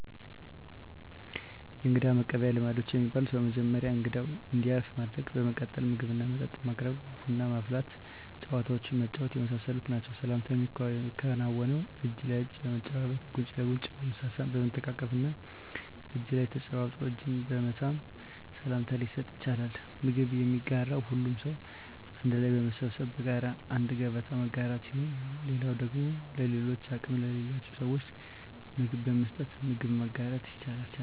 የእንግዳ መቀበያ ልማዶች የሚባሉት በመጀመሪያ እንግዳው እንዲያርፍ ማድረግ በመቀጠል ምግብና መጠጥ ማቅረብ ቡና ማፍላት ጨዋታዎችን መጫወት የመሳሰሉት ናቸዉ። ሰላምታ የሚከናወነው እጅ ለእጅ በመጨባበጥ ጉንጭ ለጉንጭ በመሳሳም በመተቃቀፍ እና እጅ ለእጅ ተጨባብጦ እጅን በመሳም ሰላምታ ሊሰጥ ይቻላል። ምግብ የሚጋራው ሁሉም ሰው አንድ ላይ በመሰብሰብ በጋራ አንድ ገበታ መጋራት ሲሆን ሌላው ደግሞ ለሌሎች አቅም ለሌላቸው ስዎች ምግብ በመስጠት ምግብ መጋራት ይቻላል።